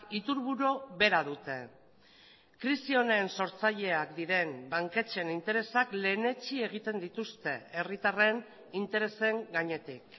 iturburu bera dute krisi honen sortzaileak diren banketxeen interesak lehenetsi egiten dituzte herritarren interesen gainetik